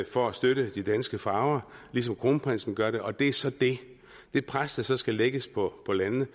for at støtte de danske farver ligesom kronprinsen gør det og det er så det det pres der så skal lægges på landene